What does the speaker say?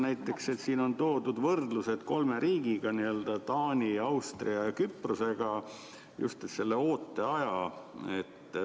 Näiteks siin on toodud võrdlused kolme riigiga – Taani, Austria ja Küprosega –, just selle ooteaja kohta.